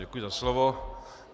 Děkuji za slovo.